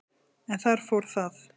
en þar fór það.